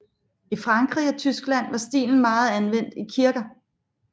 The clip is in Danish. I Frankrig og Tyskland var stilen meget anvendt i kirker